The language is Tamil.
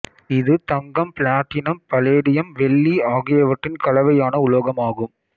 இது தங்கம் பிளாட்டினம் பலேடியம்வெள்ளி ஆகியவற்றின் கலவையான உலோகம் ஆகும்